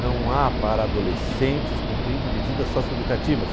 Não há para adolescentes cumprindo medidas socioeducativas.